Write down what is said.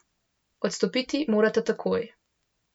Odstopiti morata takoj.